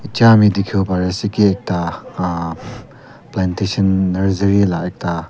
ami dihiwo pari ase ekta ahh plantation nursery la ekta.